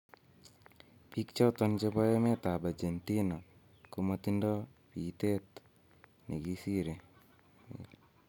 biik choton chebo emetab Argentina komotindo biitet ne kisire�. will